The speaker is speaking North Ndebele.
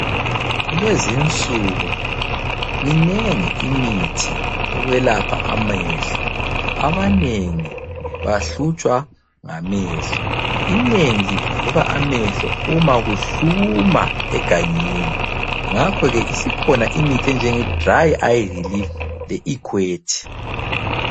Kulezinsuku minengi imithi yokwelapha amehlo. Abanengi bahlutshwa ngamehlo. Inengi livuvuka amehlo uma kuhluma egangeni ngakhoke isikhona imithi enjenge dry eye relief le equate.